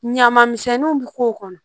Ɲaman misɛnninw bi k'o kɔnɔ